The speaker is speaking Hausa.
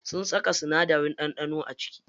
Suna saka sinadarin ɗanɗano a ciki.